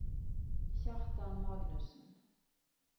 Kjartan Magnussen